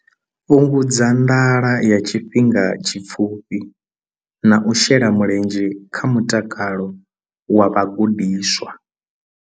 Fhungudza nḓala ya tshifhinga tshipfufhi na u shela mulenzhe kha mutakalo wa vhagudiswa.